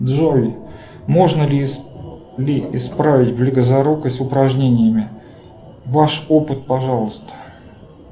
джой можно ли исправить близорукость упражнениями ваш опыт пожалуйста